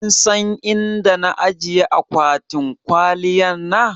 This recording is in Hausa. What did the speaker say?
kinsan inda na ajiye akwatin kwaliyan na?